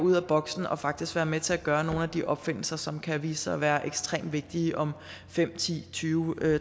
ud af boksen og faktisk være med til at gøre nogle af de opfindelser som kan vise sig at være ekstremt vigtige om fem ti tyve